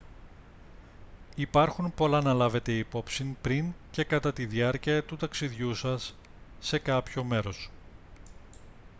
υπάρχουν πολλά να λάβετε υπόψη πριν και κατά τη διάρκεια του ταξιδιού σας σε κάποιο μέρος